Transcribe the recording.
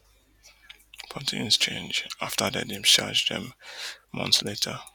but tins change afta dem discharge dem months later